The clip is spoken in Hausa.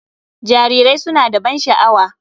Jarirai suna da ban sha'awa.